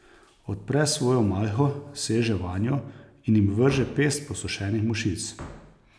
Odpre svojo malho, seže vanjo in jim vrže pest posušenih mušic.